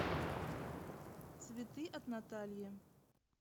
цветы от натальи